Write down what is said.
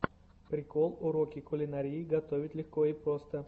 прикол уроки кулинарии готовить легко и просто